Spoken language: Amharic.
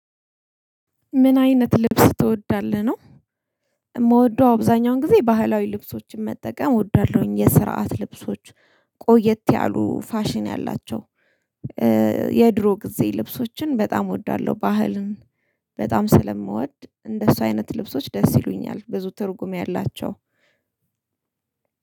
ምን አይነት ልብስ ትወዳለህ? ነው የምወደው አብዛኛውን ጊዜ ባህላዊ ልብሶችን መጠቀም እወዳለሁኝ፤ የስርዓት ልብሶች፣ ቆየት ያሉ ፋሽን ያላቸው የድሮ ጊዜ ልብሶችን በጣም እወዳለሁ፣ ባህልን በጣም ስለምወድ እንደሱ አይነት ልብሶች ደስ ይሉኛል ብዙ ትርጉም ያላቸው።